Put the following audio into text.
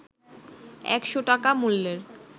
১০০ টাকা মূল্যের